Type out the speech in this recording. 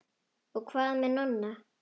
Og hvað með Nonna?